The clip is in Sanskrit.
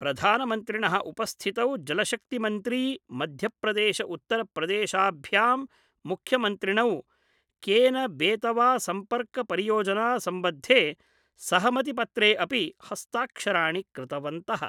प्रधानमन्त्रिणः उपस्थितौ जलशक्तिमन्त्री मध्य प्रदेश उत्तर प्रदेशाभ्यां मुख्यमंत्रिणौ केनबेतवा सम्पर्कपरियोजनासंबद्धे सहमतिपत्रे अपि हस्ताक्षराणि कृतवन्तः।